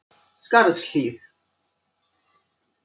Skarðshlíð